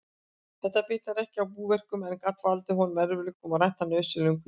Þetta bitnaði ekki á búverkum, en gat valdið honum erfiðleikum og rænt hann nauðsynlegum hvíldartíma.